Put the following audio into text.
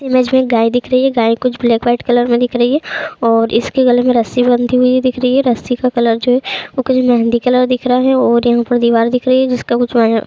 image में गाय दिख रही है गाय कुछ ब्लैक वाइट कलर मे दिख रही है और इसके गले कुछ रस्सी बंधी हुई दिख रही है रस्सी का कलर जो है वो कुछ मेहंदी कलर का दिख रहा है और यहाँ पे दीवाल दिख रही है जिसका कुछ --